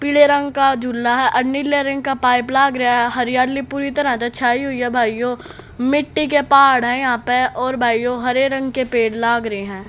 पीले रंग का झूला है आ नीले रंग का पाइप लाग रेहा हरियाली पूरी तरह से छाई हुई है भाइयों मिट्टी के पहाड़ यहां पे और भाइयों हरे रंग के पेड़ लाग रे हैं।